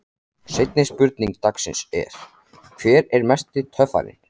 Seinni spurning dagsins er: Hver er mesti töffarinn?